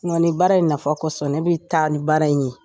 Nɔ nin baara in nafa kosɔn ne bɛ taa ni baara in ye